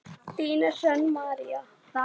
Þín Hrönn María.